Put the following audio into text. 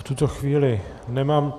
V tuto chvíli nemám...